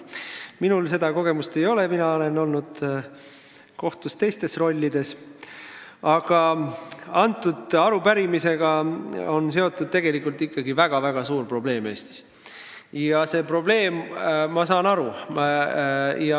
Minul seda kogemust ei ole, mina olen olnud kohtus teistes rollides, aga jah, selle arupärimise taga on ikkagi väga suur probleem.